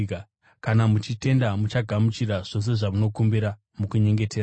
Kana muchitenda, muchagamuchira zvose zvamunokumbira mukunyengetera.”